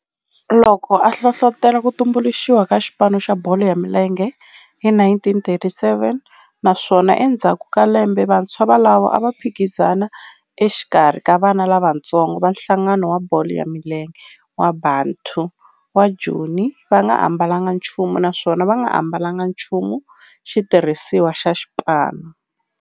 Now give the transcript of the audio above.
Loko a hlohlotela ku tumbuluxiwa ka xipano xa bolo ya milenge hi 1937 naswona endzhaku ka lembe vantshwa volavo a va phikizana exikarhi ka vana lavatsongo va nhlangano wa bolo ya milenge wa Bantu wa Joni va nga ambalanga nchumu naswona va nga ambalanga nchumu xitirhisiwa xa xipano.